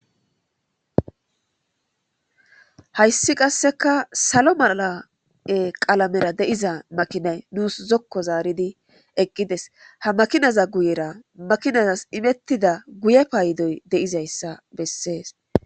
Hayisi qaseka salo mala qalamera deiza makinay nusi zoko zaridi eqides ha makinaza guyera makimas emetiza guye payidoy deizayisa beses.